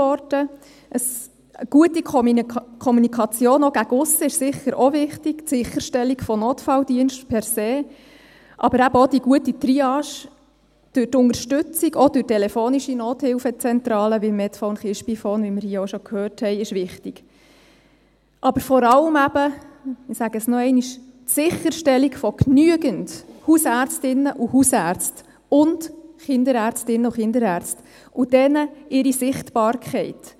Eine gute Kommunikation, auch nach aussen, die Sicherstellung von Notfalldiensten per se, aber auch die gute Triage durch die Unterstützung von telefonischen Nothilfezentralen, wie Medphone, KiSpiPhone, sind wichtig, aber vor allem – ich sage es noch einmal – die Sicherstellung von genügend Hausärztinnen und Hausärzten und Kinderärztinnen und Kinderärzten und deren Sichtbarkeit.